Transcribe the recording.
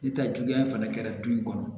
Ni ta juguya fana kɛra du in kɔnɔ